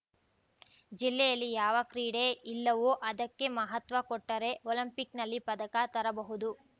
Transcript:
ಜಿಲ್ಲೆಯಲ್ಲಿ ಯಾವ ಕ್ರೀಡೆ ಇಲ್ಲವೋ ಅದಕ್ಕೆ ಮಹತ್ವ ಕೊಟ್ಟರೆ ಒಲಿಂಪಿಕ್‌ನಲ್ಲಿ ಪದಕ ತರಬಹುದು